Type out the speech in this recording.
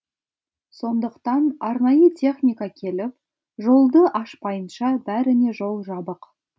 сондықтан арнайы техника келіп жолды ашпайынша бәріне жол жабық